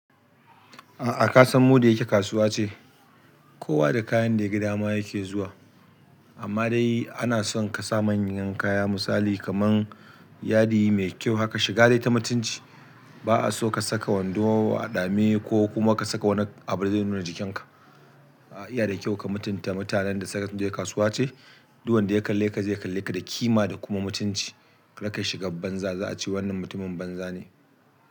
A'a ka san mu da yake kasuwa ce? Kowa da kayan da yaga dama yake zuwa. Amma dai ana son ka sa manyan kaya misali kaman yadi mai kyau haka shiga dai ta mutunci. Ba'a so ka saka wando a ɗame koh kuma ka saka wani abu fa zai nuna jikin iya da kyau ka mutunta mutanen da suka je kasuwa ce. Duk wanda ya kalle ka zai kalle ka da kima da kuma mutunci. Raka yi shiga banza za a ce wannan mutumin banza ne.